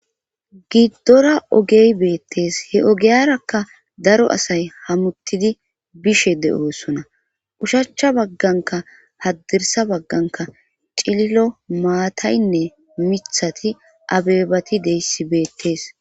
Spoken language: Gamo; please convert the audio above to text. giddora ogey beettees he ogeyarakka daro asay hamuttidi bishe de7oosona ushachcha bagganka haddirsa bagganka cililo maataynne mithati abebati deyssi beettees